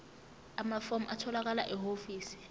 amafomu atholakala ehhovisi